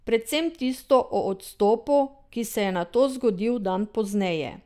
Predvsem tisto o odstopu, ki se je nato zgodil dan pozneje.